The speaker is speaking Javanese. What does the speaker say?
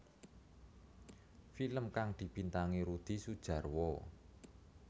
Film kang dibintangi Rudi Sudjarwo